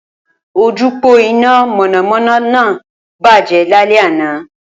Ojúpòó iná mọ̀nàmọ́ná náà bàjẹ́ lálẹ́ anàá